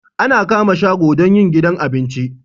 Ana kama shago don yin gidan abinci